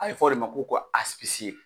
A be fɔ de ma ko ka asipisiye